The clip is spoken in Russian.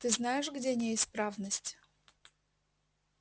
ты знаешь где неисправность